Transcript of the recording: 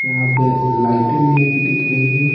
यहाँ पे लाइट भी एक दिख रही है।